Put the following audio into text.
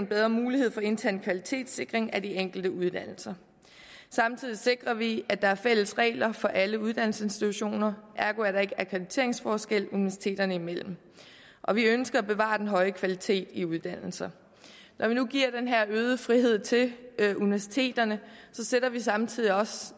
bedre mulighed for intern kvalitetssikring af de enkelte uddannelser samtidig sikrer vi at der er fælles regler for alle uddannelsesinstitutioner ergo er der ikke akkrediteringsforskelle universiteterne imellem og vi ønsker at bevare den høje kvalitet i uddannelser når vi nu giver den her øgede frihed til universiteterne stiller vi samtidig også